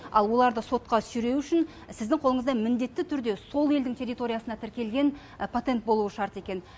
ал оларды сотқа сүйреу үшін сіздің қолыңызда міндетті түрде сол елдің территориясына тіркелген патент болуы шарт екен